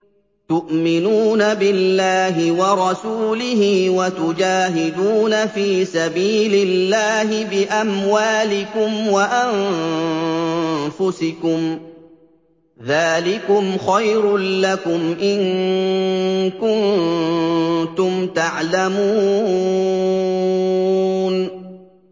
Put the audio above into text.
تُؤْمِنُونَ بِاللَّهِ وَرَسُولِهِ وَتُجَاهِدُونَ فِي سَبِيلِ اللَّهِ بِأَمْوَالِكُمْ وَأَنفُسِكُمْ ۚ ذَٰلِكُمْ خَيْرٌ لَّكُمْ إِن كُنتُمْ تَعْلَمُونَ